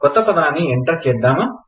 కొత్త పదాన్ని ఎంటర్ చేద్దామా